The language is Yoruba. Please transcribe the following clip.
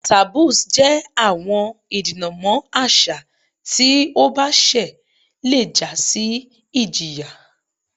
Taboos jẹ awọn idinamọ aṣa ti o ba ṣẹ le ja si ijiya